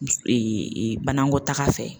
banakɔtaga fɛ